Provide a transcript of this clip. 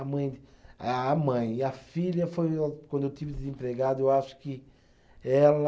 A mãe, a a mãe, e a filha foi, quando eu tive desempregado, eu acho que ela.